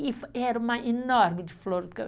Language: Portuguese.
E era uma enorme de flor do